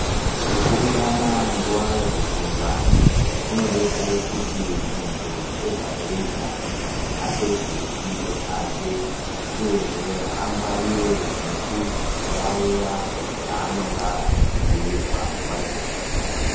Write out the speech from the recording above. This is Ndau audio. Kupurutana nguwa yekufunda kunodetsere kuti muntu ega ega apedze fundo dzake uyehe angwarire nekuyaye zvaanonga echibhuirwa nguwa yekufunda